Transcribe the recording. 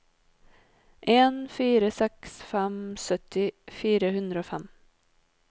en fire seks fem sytti fire hundre og fem